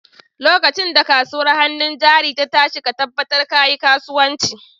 Lokacin da kasuwar hannun jari ta tashi ka tabbatar ka yi kasuwanci!